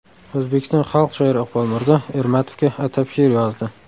O‘zbekiston xalq shoiri Iqbol Mirzo Ermatovga atab she’r yozdi.